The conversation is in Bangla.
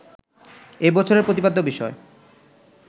এ বছরের প্রতিপাদ্য বিষয়